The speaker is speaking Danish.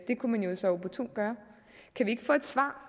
det kunne man jo så opportunt gøre kan vi ikke få et svar